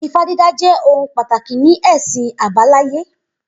Ifá dídá jẹ́ ohun pàtàkì ní ẹ̀sìn àbáláyé